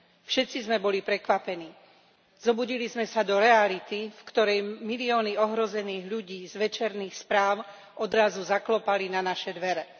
Všetci sme boli prekvapení. Zobudili sme sa do reality, v ktorej milióny ohrozených ľudí z večerných správ odrazu zaklopali na naše dvere.